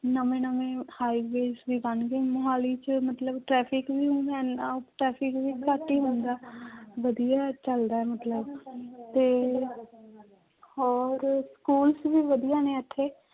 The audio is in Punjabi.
ਨਵੇ ਨਵੇਂ highways ਵੀ ਬਣ ਗਏ, ਮੁਹਾਲੀ ਚ ਮਤਲਬ traffic ਵੀ ਹੁਣ ਇੰਨਾ traffic ਵੀ ਘੱਟ ਹੀ ਹੁੰਦਾ ਵਧੀਆ ਚੱਲਦਾ ਹੈ ਮਤਲਬ ਤੇ ਹੋਰ schools ਵੀ ਵਧੀਆ ਨੇ ਇੱਥੇ।